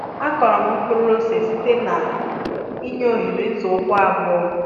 akụrụ m mkpụrụ ose site na i nye oghere nzọụkwụ abụọ